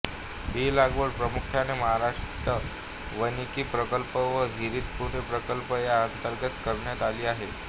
ही लागवड प्रामुख्याने महाराष्ट्र वानिकी प्रकल्प व हरित पुणे प्रकल्प या अंतर्गत करण्यात आली आहे